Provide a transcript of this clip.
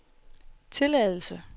tilladelse